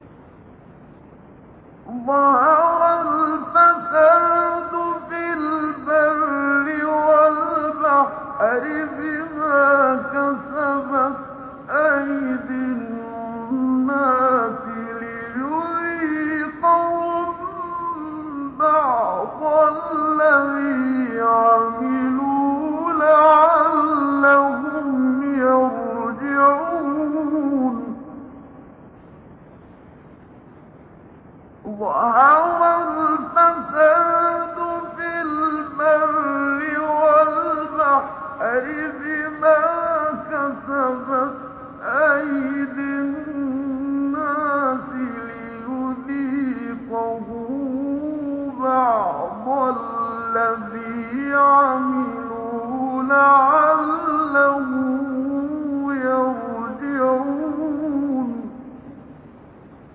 ظَهَرَ الْفَسَادُ فِي الْبَرِّ وَالْبَحْرِ بِمَا كَسَبَتْ أَيْدِي النَّاسِ لِيُذِيقَهُم بَعْضَ الَّذِي عَمِلُوا لَعَلَّهُمْ يَرْجِعُونَ